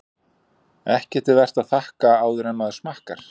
Ekki er vert að þakka áður en maður smakkar.